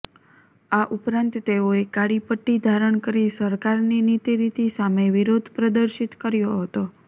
આ ઉપરાંત તેઓએ કાળી પટ્ટી ધારણ કરી સરકારની નિતી રીતી સામે વિરોધ પ્રર્દિશત કર્યો હતો